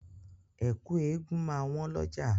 Ẹ̀kú eégun máa wọ́n lọ́jà.